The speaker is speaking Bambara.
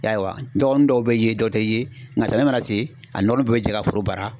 I y'a ye wa? Dɔgɔnin dɔw be ye dɔ te ye, nka samiya mana se a ni dɔgɔninw bɛɛ be jɛ ka foro baara.